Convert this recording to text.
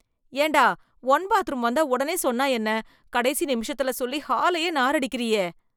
ஏண்டா, one bathroom வந்தா ஒடனே சொன்னா என்ன ... கடைசி நிமிஷத்துல சொல்லி, ஹாலையே நாறடிக்கிறியே..